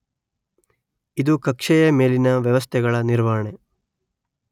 ಇದು ಕಕ್ಷೆಯ ಮೇಲಿನ ವ್ಯವಸ್ಥೆಗಳ ನಿರ್ವಹಣೆ